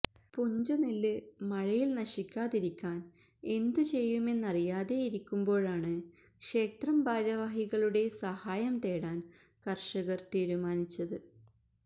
പുഞ്ചനെല്ല് മഴയിൽ നശിക്കാതിരിക്കാൻ എന്തുചെയ്യുമെന്നറിയാതെ ഇരിക്കുമ്പോഴാണ് ക്ഷേത്രം ഭാരവാഹികളുടെ സഹായംതേടാൻ കർഷകർ തീരുമാനിച്ചത്